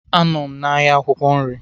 Anọ m n'ahịa akwukwo nri.